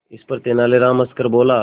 इस पर तेनालीराम हंसकर बोला